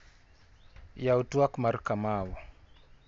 Yaw tuak mar Kamau.